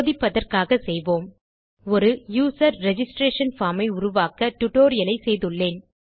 சோதிப்பதற்காக செய்வோம் ஒரு யூசர் ரிஜிஸ்ட்ரேஷன் பார்ம் ஐ உருவாக்க டியூட்டோரியல் செய்துள்ளேன்